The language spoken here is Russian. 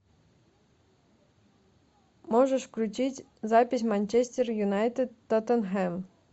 можешь включить запись манчестер юнайтед тоттенхэм